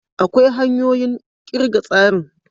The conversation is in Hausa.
Akwai hanyoyin kirga tsarin.